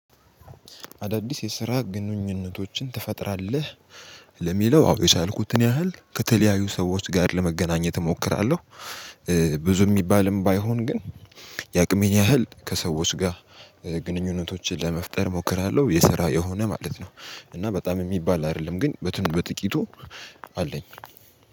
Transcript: አዳዲስ የስራ ግንኙነቶችን ትፈጥራለህ? ለሚለው አዎ የቻልኩትን ያህል ከተለያዩ ሰዎች ጋር ለመገናኘት እሞክራለሁ። ብዙ ሚባልም ባይሆን ግን የአቅሜን ያህል ከሰዎች ጋር ግንኙነቶችን ለመፍጠር እሞክራለሁ። የስራ የሆነ ማለት ነው እና በጣም ሚባል አይደለም ግን በጥቂቱ አለኝ